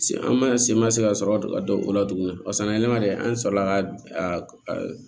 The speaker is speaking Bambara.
Se an ma se ma se ka sɔrɔ ka don o la tuguni an sɔrɔla ka